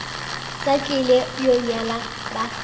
sa tlile go nyala ba